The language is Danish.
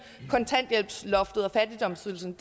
kontanthjælpsloftet og fattigdomsydelsen